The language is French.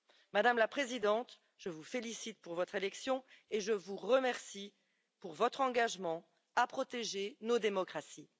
Madame la Présidente, je vous félicite pour votre élection et je vous remercie pour votre engagement à protéger nos démocraties.